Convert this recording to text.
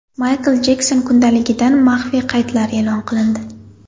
Maykl Jekson kundaligidan maxfiy qaydlar e’lon qilindi.